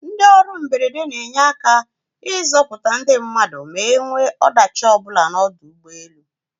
Ndị ọrụ mberede n'enye aka ịzọputa ndị mmadụ ma enwee ọdachi ọbụla n'ọdọ ụgbọelu.